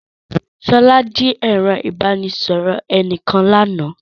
Sola jí ẹ̀rọ ìbánisọ̀rọ̀ ẹnìkan lánàá